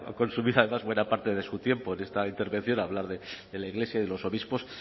consumido además buena parte de su tiempo en esta intervención a hablar de la iglesia y de los obispos